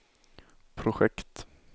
projekt